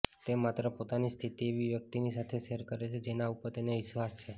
તે માત્ર પોતાની સ્થિતિ એવી વ્યક્તિની સાથે શેર કરે છે જેના ઉપર તેને વિશ્વાસ છે